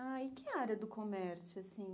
Ah, e que área do comércio, assim?